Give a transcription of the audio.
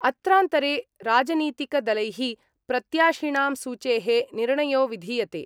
अत्रान्तरे राजनीतिकदलै: प्रत्याशिणां सूचे: निर्णयो विधीयते।